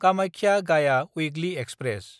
कामाख्या–गाया weekly express